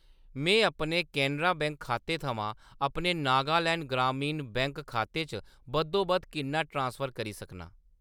में अपने केनरा बैंक खाते थमां अपने नागालैंड ग्रामीण बैंक खाते च बद्धोबद्ध किन्ना ट्रांसफर करी सकनां ?